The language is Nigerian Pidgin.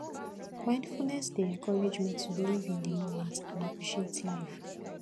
mindfulness dey encourage me to live in the moment and appreciate life